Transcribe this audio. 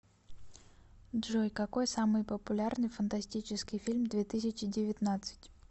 джой какой самый популярный фантастический фильм две тысячи девятнадцать